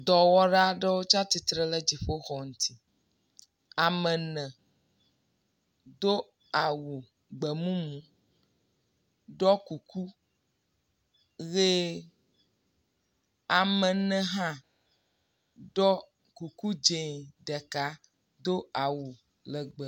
Dɔwɔwɔla aɖewo tsia tsi tre ɖe dziƒo xɔ ŋuti. Ame ene do awu gbemumu ɖoe kuku ʋi. Ame ne hã ɖo kuku dz0 ɖeka, awu legbe.